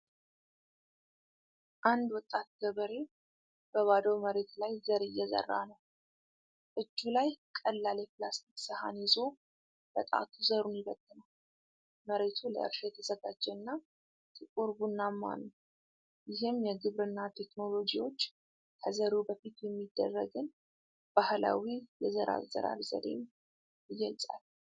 አንድ ወጣት ገበሬ በባዶ መሬት ላይ ዘር እየዘራ ነው። እጁ ላይ ቀላል የፕላስቲክ ሰሃን ይዞ በጣቱ ዘሩን ይበትናል። መሬቱ ለእርሻ የተዘጋጀና ጥቁር ቡናማ ነው። ይህም የግብርና ቴክኖሎጂዎች ከዘሩ በፊት የሚደረግን ባህላዊ የዘር አዘራር ዘዴ ይገልጻል።